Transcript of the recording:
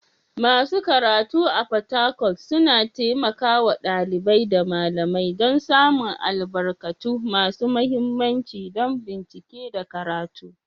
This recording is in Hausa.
Masu karatu a Fatakwal suna taimaka wa ɗalibai da malamai don samun albarkatu masu mahimmanci don bincike da karatu.